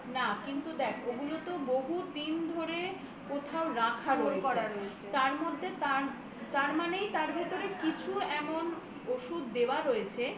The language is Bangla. না কিন্তু দেখ ওইগুলো তো বহুদিন ধরে কোথাও রাখা রয়েছে তার মধ্যে তার মানে তার ভিতরে কিছু এমন ওষুধ দেওয়া রয়েছে